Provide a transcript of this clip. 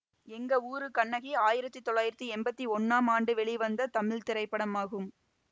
எங்க ஊரு கண்ணகி ஆயிரத்தி தொள்ளாயிரத்தி எம்பத்தி ஒன்னாம் ஆண்டு வெளிவந்த தமிழ் திரைப்படமாகும்